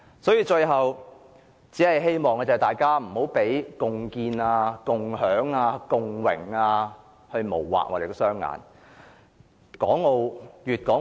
所以，最後，我只希望大家不要被共建、共享、共榮等字眼迷惑。